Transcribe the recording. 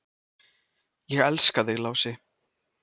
"""Ég elska þig, Lási."""